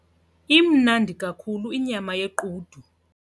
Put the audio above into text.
Imnandi kakhulu inyama yequdu.